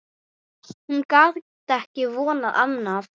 Hún gat ekki vonað annað.